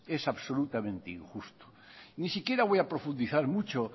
es absolutamente injusto ni siquiera voy a profundizar mucho